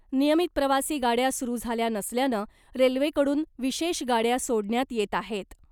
नियमित प्रवासी गाड्या सुरू झाल्या नसल्यानं , रेल्वेकडून विशेष गाड्या सोडण्यात येत आहेत .